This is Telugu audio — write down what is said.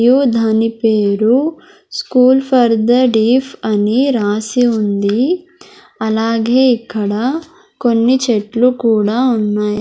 యు దాని పేరు స్కూల్ ఫర్ ద డెఫ్ అని రాసి ఉంది అలాగే ఇక్కడ కొన్ని చెట్లు కూడా ఉన్నాయ్.